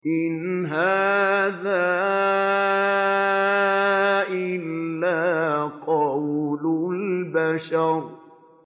إِنْ هَٰذَا إِلَّا قَوْلُ الْبَشَرِ